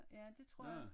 Ja det tror jeg